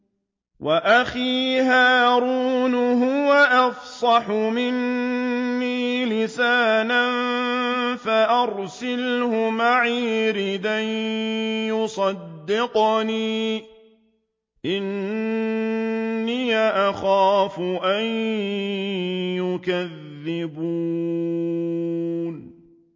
وَأَخِي هَارُونُ هُوَ أَفْصَحُ مِنِّي لِسَانًا فَأَرْسِلْهُ مَعِيَ رِدْءًا يُصَدِّقُنِي ۖ إِنِّي أَخَافُ أَن يُكَذِّبُونِ